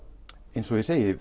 eins og ég segi